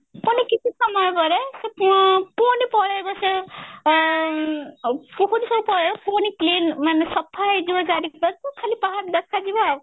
ମାନେ କିଛି ସମୟ ପରେ ସେ ପୂ ପୁଣି ପଳେଇବ ସେ ଏ କୁହୁଡି ସବୁ ପଳେଇବ ପୁଣି clean ମାନେ ସାଫା ହେଇଯିବ ଚାରି ଖାଲି ପାହାଡ ଦେଖା ଯିବ